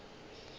o ile a tla a